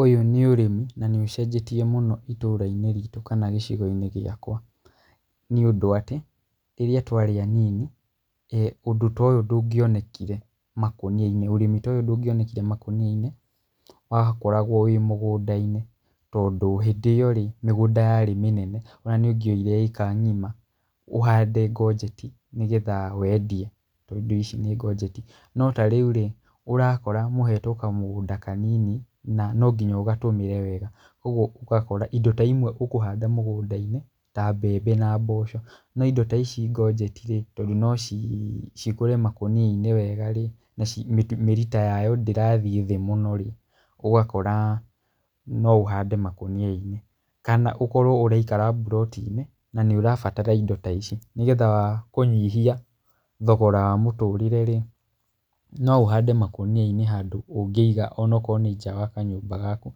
Ũyĩ nĩ ũrĩmi na nĩũcenjetie mũno itũra-inĩ ritũ kana gĩcigo-inĩ gĩakwa nĩ ũndũ atĩ, rĩrĩa twarĩ anini ũndũ ta ũyũ ndũngĩonekire makũnia-inĩ, ũrĩmi ta ũyũ ndũngĩonekire makũnia-inĩ, wakoragwo wĩ mũgũnda-inĩ tondũ hĩndĩ ĩyo-rĩ mĩgũnda yarĩ mĩnene ona nĩũngĩoire ĩka ng'ima ũhande konjeti, nĩgetha wendie tondũ ici nĩ konjeti. No ta rĩu-rĩ, ũrakora mũhetwo kamũgũnda kanini na no nginya ũgatũmĩre wega, ũguo ũgakora indo ta imwe ũkũhanda mũgũnda-inĩ ta mbembe na mboco. No indo ta ici konjeti-rĩ, tondũ nocikũre makũnia-inĩ wega-rĩ, naci mĩri ta yayo ndirathiĩ thĩ mũno-rĩ, ũgakora no ũhande makũnia-inĩ, kana ũkorwo ũraikara mburoti-inĩ na nĩũrabatara indo ta ici nĩgetha kũnyihia thogora wa mũtũrĩre-rĩ, no ũhande makũnia-inĩ handũ ũngĩiga onakorwo nĩ nja wa kanyũmba gaku,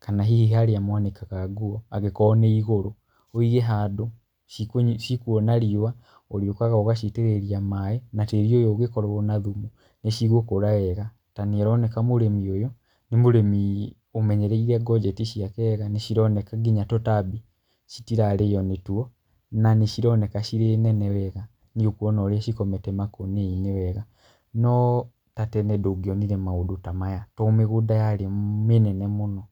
kana hihi harĩa mwanĩkaga nguo angĩkorwo nĩ igũru. Wĩige handũ cikũona riũa, ũrĩũkaga ũgaciitĩrĩria maĩ na tĩri ũyũ ũngĩkorwo na thumu nĩcigũkũra wega tondũ nĩĩroneka mũrĩmi ũyũ nĩ mũrĩmi ũmenyereire konjeti ciake wega nĩcironeka nginya tũtambi citirarĩo nĩtuo na nĩcironeka cirĩ nene wega, nĩũkuona ũrĩa cikomete makũnia-inĩ wega. No ta tene ndũngĩonire maũndũ ta maya, tondũ mĩgũnda yarĩ mĩnene mũno.